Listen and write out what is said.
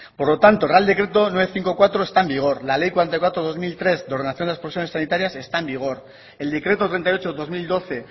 por lo tanto el real decreto novecientos cincuenta y cuatro está en vigor la ley cuarenta y cuatro barra dos mil trece de ordenación de las profesiones sanitarias está en vigor el decreto treinta y ocho barra dos mil doce